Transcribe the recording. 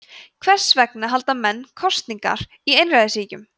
hvers vegna halda menn „kosningar“ í einræðisríkjum